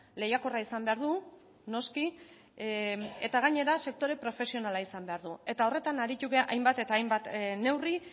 lehiakorra izan behar du noski eta gainera sektore profesionala izan behar du eta horretan aritu gara hainbat eta hainbat neurri